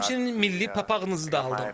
Həmçinin milli papağınızı da aldım.